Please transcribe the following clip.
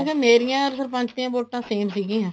ਮੇਰੀਆਂ or ਸਰਪੰਚ ਦੀਆਂ ਵੋਟਾਂ same ਸੀਗੀਆਂ